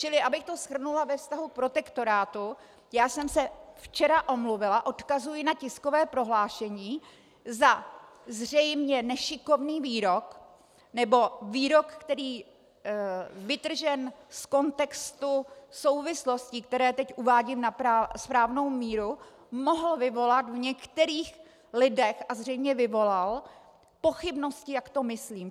Čili abych to shrnula ve vztahu k protektorátu, já jsem se včera omluvila - odkazuji na tiskové prohlášení - za zřejmě nešikovný výrok nebo výrok, který vytržen z kontextu souvislostí, které teď uvádím na správnou míru, mohl vyvolat v některých lidech, a zřejmě vyvolal, pochybnosti, jak to myslím.